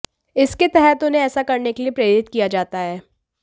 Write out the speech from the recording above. इसके तहत उन्हे ऐसा करने के लिए प्रेरित किया जाता है